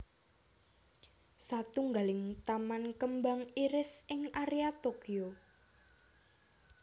Satunggaling taman kembang iris ing area Tokyo